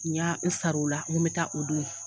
Ɲa n sar'u la, n ko mɛ taa o don